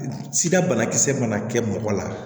Sida banakisɛ mana kɛ mɔgɔ la